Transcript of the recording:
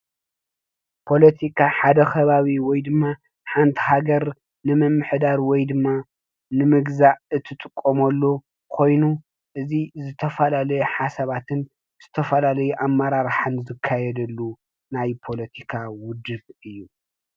ፖለቲካ ሓዳ ኸባቢ ወይ ድማ ሓንቲ ሃገር ንምምሕዳር ወይ ድማ ንምግዛእ እትጥቀመሉ ኮይኑ እዚ ዝተፈላለዩ ሓሳባትን ዝተፈላለዩ ኣመራርሓን ዝካየደሉ ፓለቲካ ዉድብ እዩ።